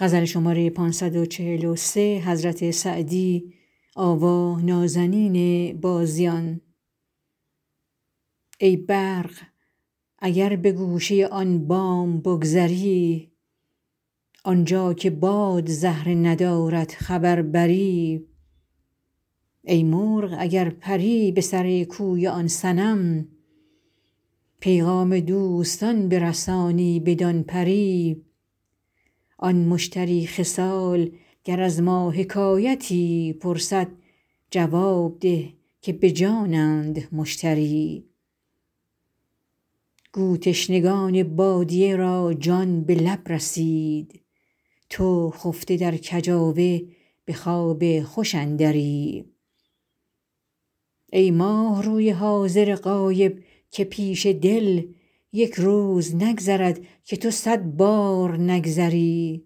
ای برق اگر به گوشه آن بام بگذری آنجا که باد زهره ندارد خبر بری ای مرغ اگر پری به سر کوی آن صنم پیغام دوستان برسانی بدان پری آن مشتری خصال گر از ما حکایتی پرسد جواب ده که به جانند مشتری گو تشنگان بادیه را جان به لب رسید تو خفته در کجاوه به خواب خوش اندری ای ماهروی حاضر غایب که پیش دل یک روز نگذرد که تو صد بار نگذری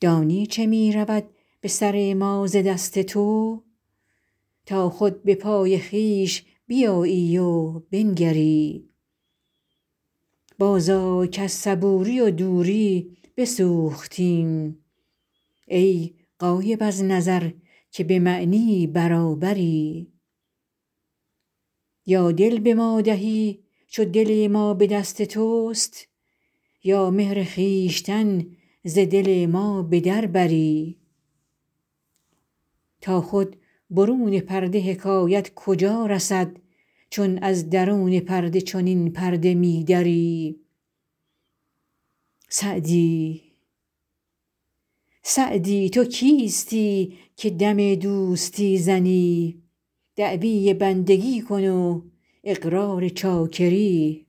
دانی چه می رود به سر ما ز دست تو تا خود به پای خویش بیایی و بنگری بازآی کز صبوری و دوری بسوختیم ای غایب از نظر که به معنی برابری یا دل به ما دهی چو دل ما به دست توست یا مهر خویشتن ز دل ما به در بری تا خود برون پرده حکایت کجا رسد چون از درون پرده چنین پرده می دری سعدی تو کیستی که دم دوستی زنی دعوی بندگی کن و اقرار چاکری